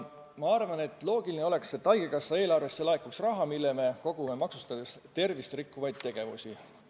Minu arvates oleks loogiline, et haigekassa eelarvesse laekuks raha ka tänu sellele, et me maksustame tervist rikkuvaid tegevusi.